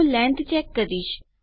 હું length check કરીશ